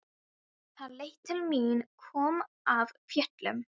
Hann leit til mín, kom af fjöllum.